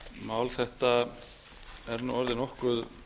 mál þetta er nú orðið nokkuð